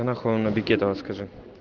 а нахуй он на бекетова скажи